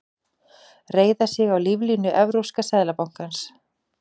Reiða sig á líflínu Evrópska seðlabankans